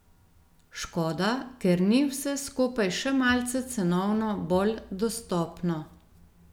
Škoda, ker ni vse skupaj še malce cenovno bolj dostopno.